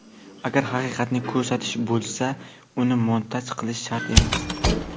Agar xaqiqatni ko‘rsatish bo‘lsa uni montaj qilish shart emas.